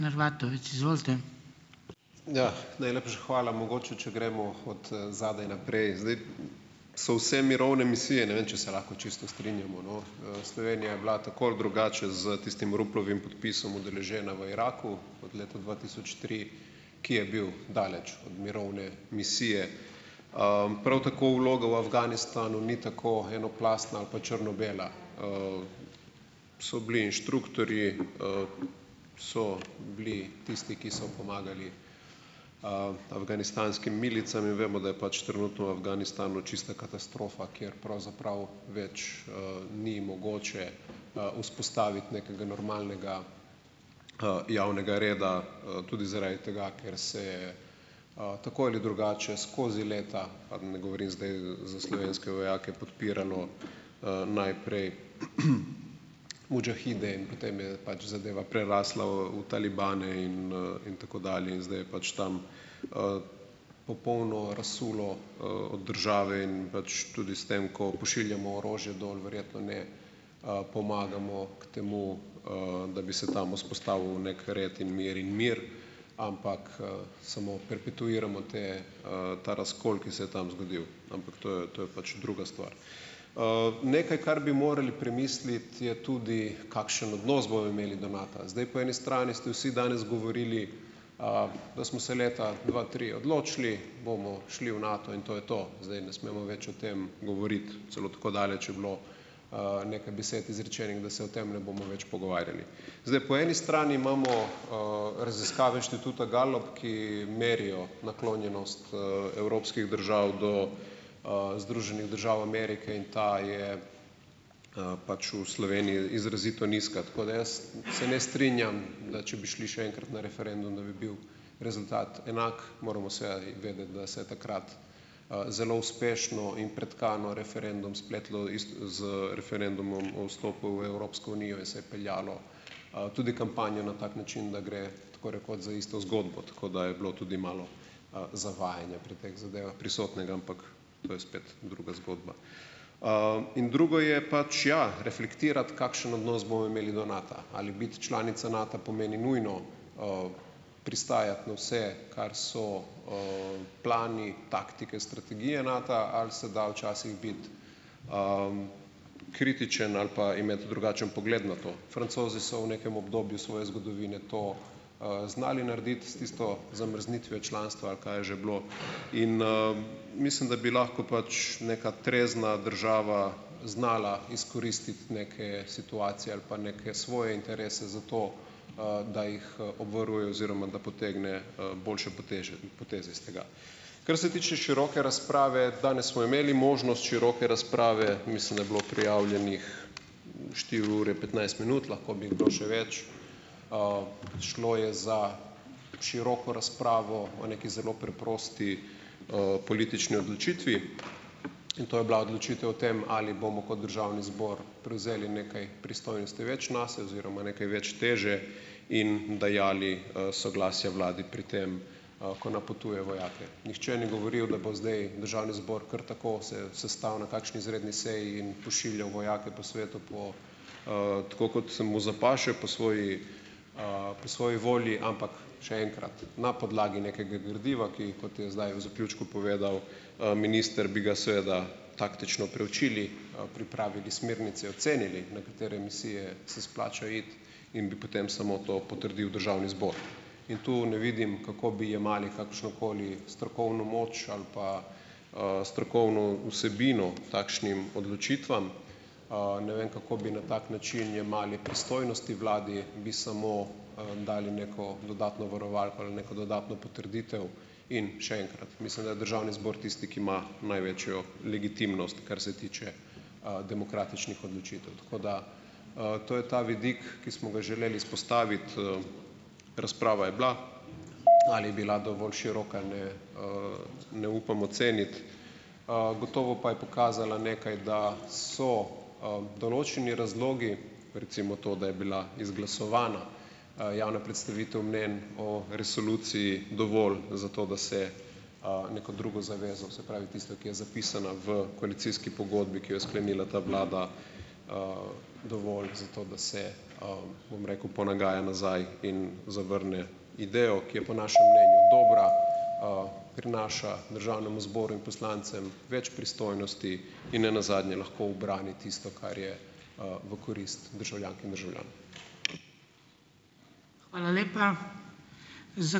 Ja, najlepša hvala. Mogoče če gremo od, zadaj naprej. Zdaj, so vse mirovne misije - ne vem, če se lahko čisto strinjamo, no, Slovenija je bila tako ali drugače z tistim Ruplovim podpisom udeležena v Iraku od leta dva tisoč tri, ki je bil daleč od mirovne misije. Prav tako vloga v Afganistanu ni tako enoplastna ali pa črno-bela. So bili inštruktorji, so bili tisti, ki so pomagali, afganistanskim milicam in vemo, da je pač trenutno v Afganistanu čista katastrofa, kjer pravzaprav več, ni mogoče, vzpostaviti nekega normalnega, javnega reda, tudi zaradi tega, ker se, tako ali drugače, skozi leta, pa ne govorim zdaj za slovenske vojake, podpiralo, najprej mudžahide in potem je pač zadeva prerasla v v talibane in, in tako dalje in zdaj je pač tam, popolno razsulo, od države in pač tudi s tem, ko pošiljamo orožje dol, verjetno ne, pomagamo k temu, da bi se tam vzpostavil neki red in mir, in mir, ampak, samo "perpetuiramo" te, ta razkol, ki se je tam zgodil, ampak to je to je pač druga stvar. Nekaj, kar bi morali premisliti, je tudi, kakšen odnos bodo imeli do Nata. Zdaj, po eni strani ste vsi danes govorili, da smo se leta dva tri odločili, bomo šli v Nato in to je to. Zdaj ne smemo več o tem govoriti. Celo tako daleč je bilo, nekaj besed izrečenih, da se o tem ne bomo več pogovarjali. Zdaj, po eni strani imamo, raziskave inštituta Gallup, ki merijo naklonjenost, evropskih držav do, Združenih držav Amerike in ta je, pač v Sloveniji izrazito nizka, tako da jaz se ne strinjam, da če bi šli še enkrat na referendum, da bi bil rezultat enak. Moramo seveda vedeti, da se je takrat, zelo uspešno in pretkano referendum spletlo z referendumom o vstopu v Evropsko unijo in se je peljalo, tudi kampanjo na tak način, da gre, tako rekoč, za isto zgodbo, tako da je bilo tudi malo, zavajanja pri teh zadevah prisotnega, ampak to je spet druga zgodba. In drugo je pač, ja, "reflektirati", kakšen odnos bojo imeli do Nata. Ali biti članica Nata pomeni nujno, pristajati na vse, kar so, plani, taktike, strategije Nata, ali se da včasih biti, kritičen ali pa imeti drugačen pogled na to. Francozi so v nekem obdobju svoje zgodovine to, znali narediti s tisto zamrznitvijo članstva ali kaj je že bilo? In, mislim, da bi lahko pač neka trezna država znala izkoristit neke situacije ali pa neke svoje interese, za to, da jih, obvaruje oziroma da potegne, boljše poteze iz tega. Kar se tiče široke razprave, danes smo imeli možnost široke razprave. Mislim, da je bilo prijavljenih štiri ure petnajst minut, lahko bi kdo še več. Šlo je za široko razpravo o neki zelo preprosti, politični odločitvi in to je bila odločitev o tem, ali bomo kot državni zbor prevzeli nekaj pristojnosti več nase oziroma nekaj več teže in dajali, soglasja vladi pri tem, ko napotuje vojake. Nihče ni govoril, da bo zdaj državni zbor kar tako se sestal na kakšni izredni seji in pošiljal vojake po svetu, po, tako kot se mu "zapaše", po svoji, po svoji volji, ampak, še enkrat, na podlagi nekega gradiva, ki, kot je zdaj v zaključku povedal, minister, bi ga seveda taktično preučili, pripravili smernice, ocenili, na katere misije se splača iti, in bi potem samo to potrdil državni zbor, in tu ne vidim, kako bi jemali kakršnokoli strokovno moč ali pa, strokovno vsebino takšnim odločitvam. Ne vem, kako bi na tak način jemali pristojnosti vladi, bi samo, dali neko dodatno varovalko ali neko dodatno potrditev in, še enkrat, mislim, da je državni zbor tisti, ki ima največjo legitimnost, kar se tiče, demokratičnih odločitev. Tako da, to je ta vidik, ki smo ga želeli izpostaviti, razprava je bila. Ali je bila dovolj široka ali ne - ne upam oceniti, gotovo pa je pokazala nekaj, da so, določeni razlogi, recimo to, da je bila izglasovana, javna predstavitev mnenj o resoluciji, dovolj za to, da se, neko drugo zavezo, se pravi, tisto, ki je zapisana v koalicijski pogodbi, ki jo je sklenila ta vlada, dovolj za to, da se, bom rekel, ponagaja nazaj in zavrne idejo, ki je po našem mnenju dobra, prinaša državnemu zboru in poslancem več pristojnosti in ne nazadnje, lahko ubrani tisto, kar je, v korist državljank in državljanov.